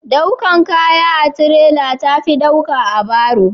daukan kaya a tirela ta fi dauka da baro